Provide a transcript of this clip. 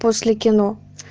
после кино